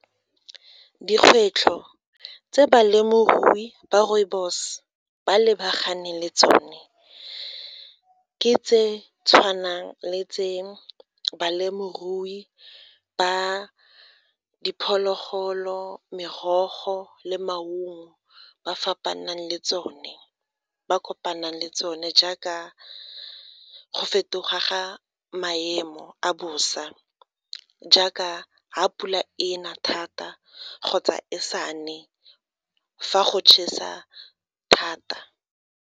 Dikgwetlho tse balemirui ba rooibos ba lebaganeng le tsone ke tse tshwanang le tseo balemirui ba diphologolo merogo le maungo ba fapanang le tsone ba kopanang le tsone jaaka go fetoga ga maemo a bosa jaaka ga pula e na thata kgotsa e sa ne fa go chesa thata.